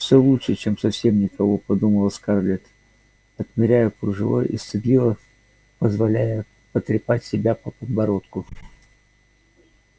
все лучше чем совсем никого подумала скарлетт отмеряя кружево и стыдливо позволяя потрепать себя по подбородку